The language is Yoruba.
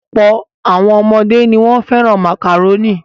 Ọ̀pọ̀ àwọn ọmọdé ni wọ́n fẹ́ràn màkàrónì.